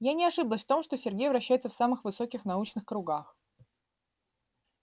я не ошиблась в том что сергей вращается в самых высоких научных кругах